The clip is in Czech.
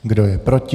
Kdo je proti?